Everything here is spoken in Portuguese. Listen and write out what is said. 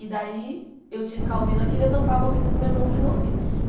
E daí eu tinha que ficar ouvindo aquilo e eu tampava o ouvido do meu irmão para ele não ouvir.